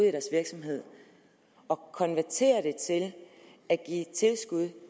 i deres virksomhed og konverterer det til at give tilskud